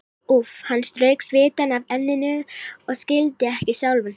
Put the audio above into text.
Úff, hann strauk svitann af enninu og skildi ekki sjálfan sig.